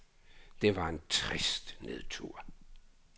Det var en trist nedtur.